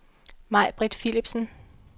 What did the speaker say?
Majbritt Philipsen